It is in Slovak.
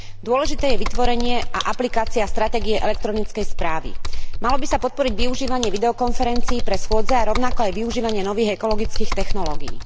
Dôležité je vytvorenie a aplikácia stratégie elektronickej správy. Malo by sa podporiť využívanie videokonferencií pre schôdze a rovnako aj využívanie nových ekologických technológií.